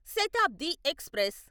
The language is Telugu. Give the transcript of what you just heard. శతాబ్ది ఎక్స్ప్రెస్